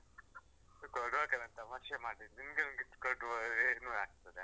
ಕೊಡ್ವ ಅಕ್ಕ ನಾನ್ ತಮಾಷೆ ಮಾಡಿದ್ದು. ನಿಮ್ಗೆ ಒಂದ್ gift ಕೊಡ್ವ, ಏನೂ ಆಗ್ತದೆ.